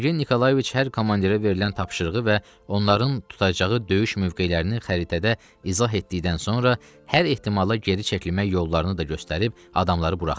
Sergey Nikolayeviç hər komandirə verilən tapşırığı və onların tutacağı döyüş mövqelərini xəritədə izah etdikdən sonra hər ehtimala geri çəkilmək yollarını da göstərib adamları buraxdı.